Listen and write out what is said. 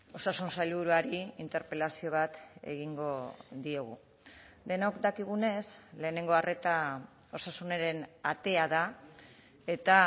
osasun sailburuari interpelazio bat egingo diogu denok dakigunez lehenengo arreta osasunaren atea da eta